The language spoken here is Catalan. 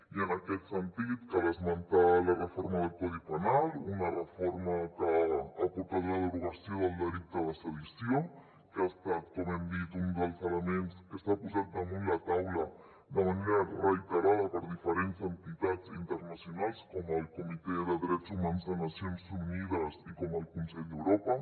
i en aquest sentit cal esmentar la reforma del codi penal una reforma que ha portat la derogació del delicte de sedició que ha estat com hem dit un dels elements que s’ha posat damunt la taula de manera reiterada per diferents entitats internacionals com el comitè de drets humans de nacions unides i com el consell d’europa